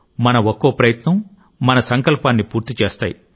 మన ఒక్కో ప్రయత్నం మన సంకల్పాన్ని పూర్తి చేస్తాయి